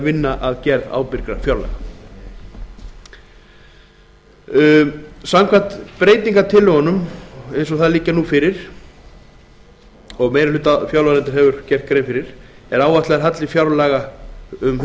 vinna að gerð ábyrgra fjárlaga samkvæmt breytingartillögum ríkisstjórnarinnar eins og þær liggja nú fyrir og meiri hluti fjárlaganefndar hefur gert grein fyrir er áætlaður halli fjárlaga hundrað